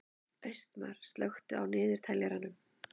Austmar, slökktu á niðurteljaranum.